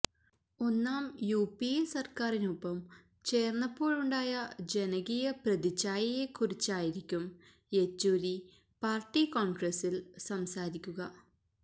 ഒന്നാം യുപിഎ സര്ക്കാരിനൊപ്പം ചേര്ന്നപ്പോഴുണ്ടായ ജനകീയ പ്രതിച്ഛായയെ കുറിച്ചായിരിക്കും യെച്ചൂരി പാര്ട്ടി കോണ്ഗ്രസില് സംസാരിക്കുക